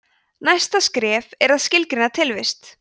næsta skref er að skilgreina tilvist